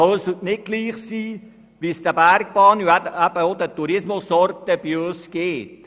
Uns kann es nicht egal sein, wie es unseren Bergbahnen und unseren Tourismusorten geht.